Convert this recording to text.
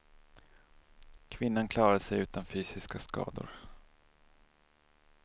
Kvinnan klarade sig utan fysiska skador.